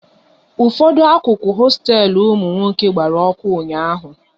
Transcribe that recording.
Ụfọdụ akụkụ hosteelu ụmụ nwoke gbara ọkụ ụnyaahụ